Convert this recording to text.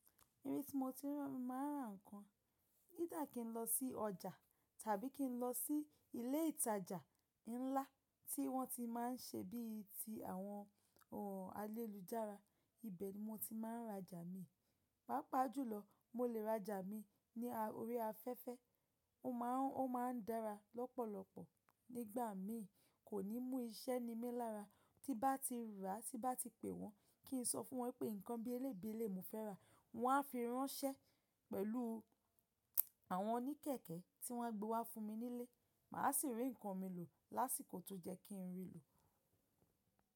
Irin ti mo ti rí, mo máa rà nǹkan. Ídá kí n lọ sí ọjà tàbí kí n lọ sí ilé ìtajà ńlá tí wọ́n ti má n ṣe bí i ti àwọn, àwọn alélùjára, ibẹ̀ ni mo ti má n rajà mi. Pàápàá jùlọ, mo lè rajà mi ní orí afẹ́fẹ́. Ó má a, ó má n dára lọ́pọ̀lọpọ̀. Nígbà míì, kò ní mú iṣẹ́ ni mí lára. Tí bá ti rà, tí bá ti pè wọ́n, kí n sọ fún wọn pé nǹkan bí eléyìí bi eléyìí mo fẹ́ rà, wọ́n á fi ránṣẹ́ pẹ̀lú àwọn oníkẹ̀kẹ́ tí wọ́n á gbé wá fún mi nílé. Mà á sì rí nǹkan mi lò lásìkò tó jẹ́ kí n rí lò.